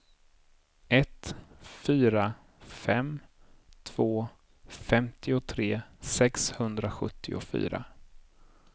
ett fyra fem två femtiotre sexhundrasjuttiofyra